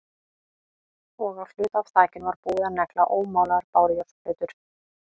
Og á hluta af þakinu var búið að negla ómálaðar bárujárnsplötur.